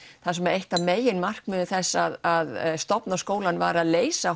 þar sem eitt af meginmarkmiðum þess að stofna skólann var að leysa